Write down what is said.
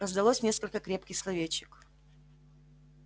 раздалось несколько крепких словечек